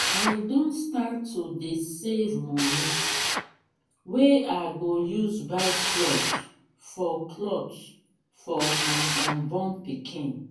i don start to dey save money wey i go use buy cloth for cloth for my unborn pikin